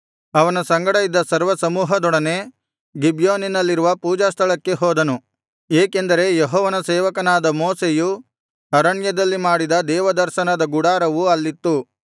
ಅವನ ಸಂಗಡ ಇದ್ದ ಸರ್ವಸಮೂಹದೊಡನೆ ಗಿಬ್ಯೋನಿನಲ್ಲಿರುವ ಪೂಜಾಸ್ಥಳಕ್ಕೆ ಹೋದನು ಏಕೆಂದರೆ ಯೆಹೋವನ ಸೇವಕನಾದ ಮೋಶೆಯು ಅರಣ್ಯದಲ್ಲಿ ಮಾಡಿದ ದೇವದರ್ಶನದ ಗುಡಾರವು ಅಲ್ಲಿತ್ತು